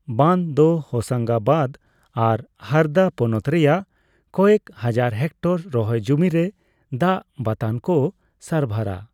ᱵᱟᱸᱫ ᱫᱚ ᱦᱚᱥᱟᱝᱜᱟᱵᱟᱫ ᱟᱨ ᱦᱟᱨᱫᱟ ᱯᱚᱱᱚᱛ ᱨᱮᱭᱟᱜ ᱠᱚᱭᱮᱠ ᱦᱟᱡᱟᱨ ᱦᱮᱠᱴᱚᱨ ᱨᱚᱦᱚᱭ ᱡᱚᱢᱤ ᱨᱮ ᱫᱟᱜ ᱵᱟᱛᱟᱱᱠᱚ ᱥᱟᱨᱵᱷᱟᱨᱟ ᱾